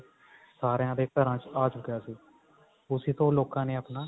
ਸਾਰਿਆਂ ਦੇ ਘਰਾਂ ਵਿੱਚ ਆ ਚੁੱਕਾ ਸੀ ਉਸੀ ਤੋਂ ਹੀ ਲੋਕਾਂ ਨੇ ਆਪਣਾ